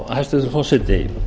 hæstvirtur forseti